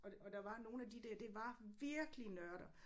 Og der og der var nogle af de der det var virkelig nørder